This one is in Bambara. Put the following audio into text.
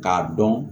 K'a dɔn